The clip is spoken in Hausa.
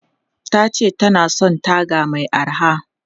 Ta ce ta na son taga mai araha.